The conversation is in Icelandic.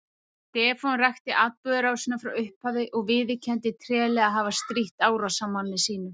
Stefán rakti atburðarásina frá upphafi og viðurkenndi treglega að hafa strítt árásarmanni sínum.